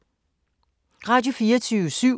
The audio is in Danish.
Radio24syv